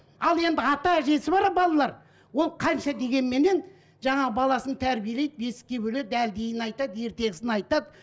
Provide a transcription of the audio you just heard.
ал енді ата әжесі бар балалар ол қанша дегенменен жаңағы баласын тәрбиелейді бесікке бөледі әлдиін айтады ертегісін айтады